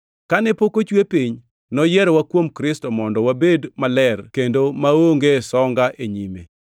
Kane pok ochwe piny, noyierowa kuom Kristo mondo wabed maler kendo maonge songa e nyime.